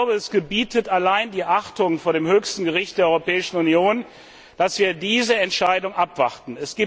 Es gebietet allein die Achtung vor dem höchsten Gericht der Europäischen Union, dass wir diese Entscheidung abwarten.